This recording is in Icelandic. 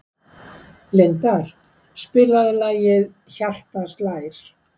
Lindar, spilaðu lagið „Hjartað slær“.